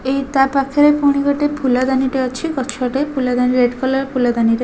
ଏଇ ତା ପାଖେରେ ଗୋଟେ ଫୁଣି ଗୋଟେ ଫୁଲଦାନୀ ଟେ ଅଛି ଗଛଟେ ଫୁଲଦାନୀ ରେଡ୍ କଲର୍ ଫୁଲଦାନୀରେ --